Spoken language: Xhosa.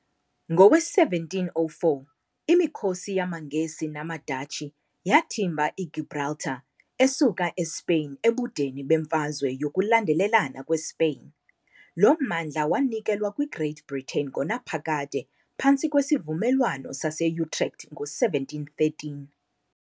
Ngowe-1704, imikhosi yamaNgesi namaDatshi yathimba iGibraltar esuka eSpeyin ebudeni beMfazwe yokuLandelana kweSpeyin. Lo mmandla wanikelwa kwi -Great Britain ngonaphakade phantsi kweSivumelwano sase-Utrecht ngo-1713.